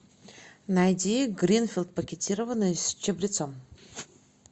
найди гринфилд пакетированный с чабрецом